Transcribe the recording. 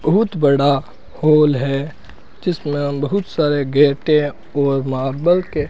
बहुत बड़ा हॉल है जिसमें बहुत सारे गेटे और मार्बल के --